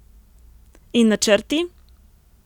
In načrti?